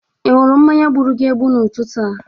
Ị ṅụrụ mmanya gburu gi egbu n'ụtụtụ a.